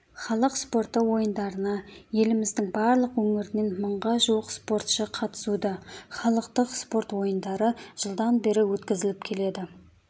халық спорты ойындарына еліміздің барлық өңірінен мыңға жуық спортшықатысуда халықтық спорт ойындары жылдан бері өткізіліп келеді